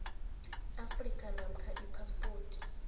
afrika namkha iphaspoti